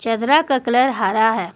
चदरा का कलर हरा है।